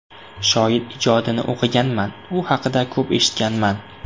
Shoir ijodini o‘qiganman, u haqida ko‘p eshitganman.